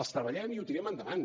els treballem i ho tirem endavant